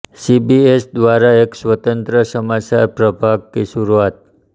CBS द्वारा एक स्वतंत्र समाचार प्रभाग की शुरूआत